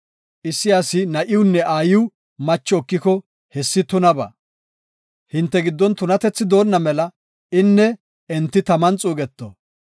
Issi asi na7iwunne aayiw macho ekiko, hessi tunabaa. Hinte giddon tunatethi doonna mela inne enti taman xuugeto.